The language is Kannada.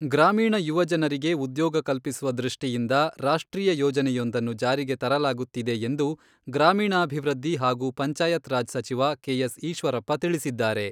ಗ್ರಾಮೀಣ ಯುವಜನರಿಗೆ ಉದ್ಯೋಗ ಕಲ್ಪಿಸುವ ದೃಷ್ಟಿಯಿಂದ ರಾಷ್ಟ್ರೀಯ ಯೋಜನೆಯೊಂದನ್ನು ಜಾರಿಗೆ ತರಲಾಗುತ್ತಿದೆ ಎಂದು ಗ್ರಾಮೀಣಾಭಿವೃದ್ಧಿ ಹಾಗೂ ಪಂಚಾಯತ್ ರಾಜ್ ಸಚಿವ ಕೆ.ಎಸ್. ಈಶ್ವರಪ್ಪ ತಿಳಿಸಿದ್ದಾರೆ.